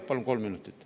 Palun kolm minutit.